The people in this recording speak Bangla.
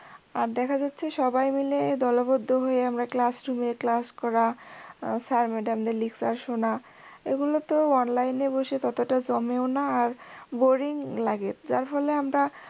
আর দেখা যাচ্ছে সবাই মিলে দলবদ্ধ হয়ে আমরা classroom এ class করা sirmadam দের lecture শোনা, এগুলো তো online এ বসে ততটা জমেও না আর boring লাগে যার ফলে আমরা